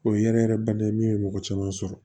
O ye yɛrɛ yɛrɛ bana ye min ye mɔgɔ caman sɔrɔ